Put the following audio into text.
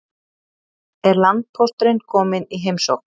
Er landpósturinn kominn í heimsókn?